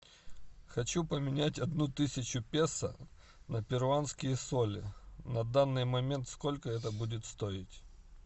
хочу поменять одну тысячу песо на перуанские соли на данный момент сколько это будет стоить